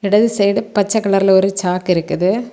எடது side பச்சை கலர்ல ஒரு சாக்கு இருக்குது.